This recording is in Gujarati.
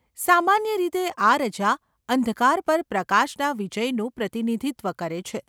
સામાન્ય રીતે આ રજા અંધકાર પર પ્રકાશના વિજયનું પ્રતિનિધિત્વ કરે છે.